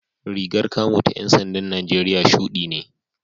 Rigar kamo ta ‘yan sandan Najeriya shudi ne